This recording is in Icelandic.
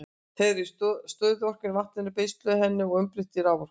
Þá er stöðuorkan í vatninu beisluð og henni umbreytt í raforku.